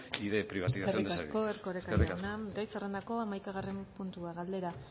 y de privatización de servicios eskerrik asko erkoreka jauna gai zerrendako hamaikagarren puntua galdera